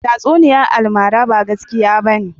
Tatsuniyar almara ba gaskiya bane.